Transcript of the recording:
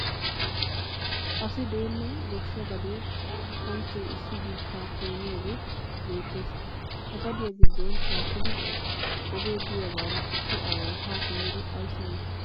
Asi deenna goshshaa gadee kanchche issi biittaa keeniyagee beettes. Ha gadiya gidduwan shaakkidi ogee diyagaara issi aaway haa simmidi ayissi yii?